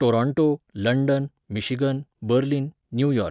Toronto, London, Michigan, Berlin, New York